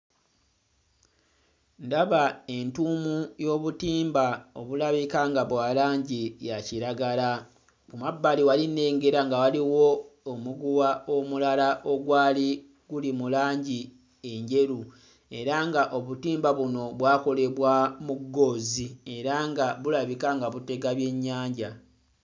Ndaba entuumu y'obutimba obulabika nga bwa langi ya kiragala ku mabbali wali nnegera nga waliwo omuguwa omulala ogwali guli mu langi enjeru era nga obutimba buno bwakolebwa mu ggoozi era nga bulabika nga butega byennyanja.